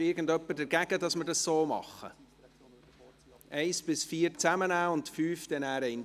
Ist irgendjemand gegen das Vorgehen, die Punkte 1–4 zusammennehmen und den Punkt 5 dann einzeln zur Abstimmung zu bringen?